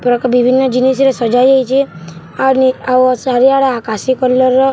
ପ୍ରକ୍‌ ବିଭିନ୍ନ ଜିନିଷ୍‌ ରେ ସଜା ଯାଇଛେ ଆର ନି ଆଉ ଚାରିଆଡେ ଆକାଶୀ କଲର୍‌ ର --